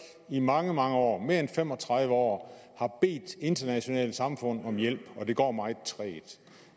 i mange mange år mere end fem og tredive år har bedt internationale samfund om hjælp og det går meget trægt